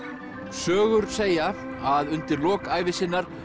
sögur segja að undir lok ævi sinnar